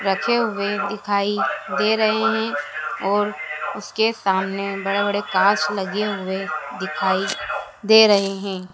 रखे हुए दिखाई दे रहे है और उसके सामने बड़े बड़े कांच लगे हुए दिखाई दे रहे हैं।